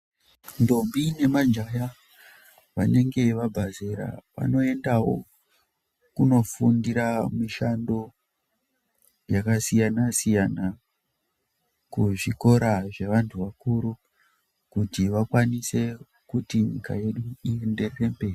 Ndombi nemajaha vanenge vabva zera vanoendawo kundofundira mishando yakasiyana siyana kuzvikora zvevantu vakuru kuti vakwanise kuti nyika yedu iende mberi.